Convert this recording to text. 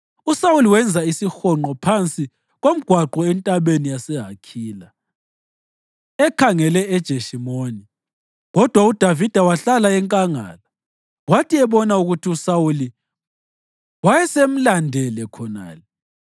USawuli wenza isihonqo phansi komgwaqo entabeni yaseHakhila ekhangele eJeshimoni, kodwa uDavida wahlala enkangala. Kwathi ebona ukuthi uSawuli wayesemlandele khonale,